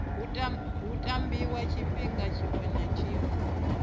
tambiwa tshifhinga tshiṅwe na tshiṅwe